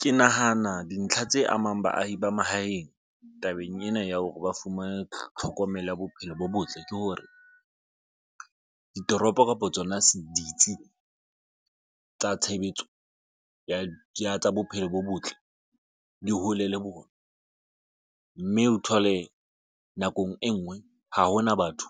Ke nahana dintlha tse amang baahi ba mahaeng tabeng ena ya hore ba fumane tlhokomelo ya bophelo bo botle. Ke hore ditoropo kapo tsona ditsi tsa tshebetso ya tsa bophelo bo botle di hole le bona. Mme o thole nakong e nngwe ha hona batho